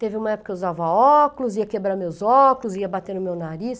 Teve uma época que eu usava óculos, ia quebrar meus óculos, ia bater no meu nariz.